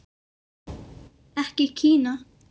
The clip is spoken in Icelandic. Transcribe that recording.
Ekki Kína.